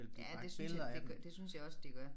Ja det synes det gør det synes jeg også de gør